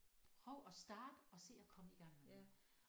Prøv at starte og se at komme i gang med det